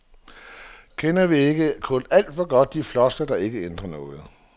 Kender vi ikke kun alt for godt de floskler, der ikke ændrer noget.